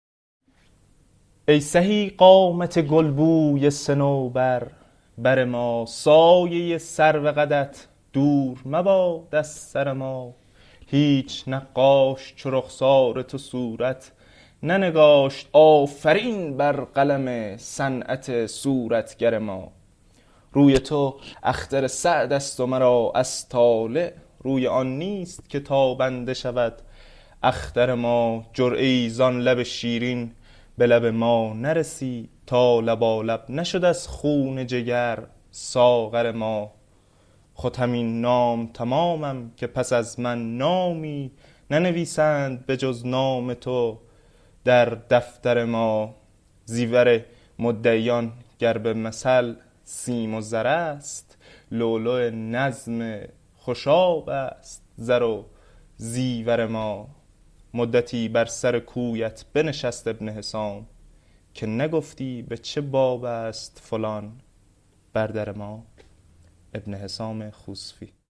ای سهی قامت گلبوی صنوبر بر ما سایه سرو قدت دور مباد از سر ما هیچ نقاش چو رخسار تو صورت ننگاشت آفرین بر قلم صنعت صورتگر ما روی تو اختر سعد است و مرا از طالع روی آن نیست که تابنده شود اختر ما جرعه ای زان لب شیرین به لب ما نرسید تا لبالب نشد از خون جگر ساغر ما خود همین نام تمامم که پس از من نامی ننویسند به جز نام تو در دفتر ما زیور مدعیان گر به مثل سیم و زر است لؤلؤ نظم خوشاب است زر و زیور ما مدتی بر سر کویت بنشست ابن حسام که نگفتی به چه باب است فلان بر در ما